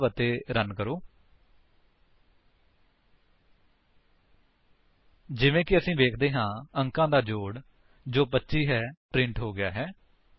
save ਅਤੇ run ਕਰੋ ਜਿਵੇਂ ਕਿ ਅਸੀ ਵੇਖਦੇ ਹਾਂ ਅੰਕਾਂ ਦਾ ਜੋੜ ਜੋ 25 ਹੈ ਪ੍ਰਿੰਟ ਹੋ ਗਿਆ ਹੈ